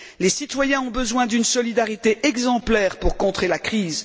Les citoyens ont besoin d'une solidarité exemplaire pour contrer la crise.